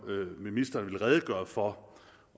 ministeren ville redegøre for